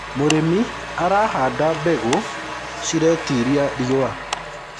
mũrĩmi arahanda mbegũ ciretĩĩria riũa